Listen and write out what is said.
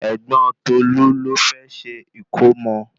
Ẹ̀gbọ́n Tolu ló fẹ́ se ìkómọ